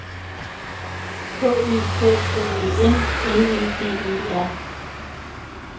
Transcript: K Ø K K E N L E D E R